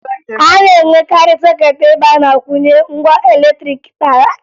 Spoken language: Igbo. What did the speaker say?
A na-enwekarị sọkeetị ebe a na-akwụnye ngwa latrịịkị dị iche iche